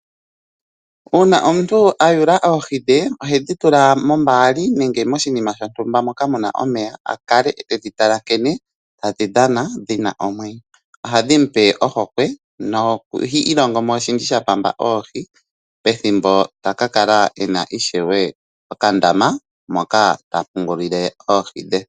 Una omuntu aakwata oohi dhe ohedhi tula mombaali nenge moshinima shotuumba moka muna omeya a kale tedhi tala nkene tadhi dhana dhi na omwenyo . Ohadhi mu pe ohokwe noha ilongo mo oshindji shapamba oohi pethimbo taka kala e na okandama moka ta tekulile oohi dhe.